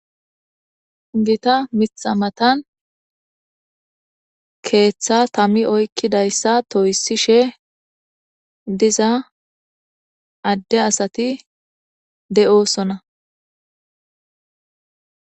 Gita mitha matan keeththa tammi oykkidayssa toyisishe diza adde asati de'osona.